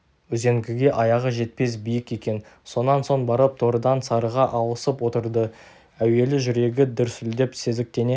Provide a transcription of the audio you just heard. үзеңгіге аяғы жетпес биік екен сонан соң барып торыдан сарыға ауысып отырды әуелі жүрегі дүрсілдеп сезіктене